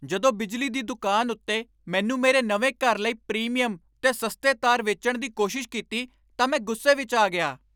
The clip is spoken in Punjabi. ਜਦੋਂ ਬਿਜਲੀ ਦੀ ਦੁਕਾਨ ਉੱਤੇ ਮੈਨੂੰ ਮੇਰੇ ਨਵੇਂ ਘਰ ਲਈ ਪ੍ਰੀਮੀਅਮ 'ਤੇ ਸਸਤੇ ਤਾਰ ਵੇਚਣ ਦੀ ਕੋਸ਼ਿਸ਼ ਕੀਤੀ ਤਾਂ ਮੈਂ ਗੁੱਸੇ ਵਿੱਚ ਆ ਗਿਆ।